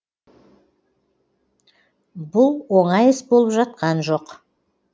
бұл оңай іс болып жатқан жоқ